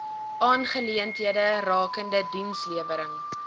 aangeleenthede rakende dienslewering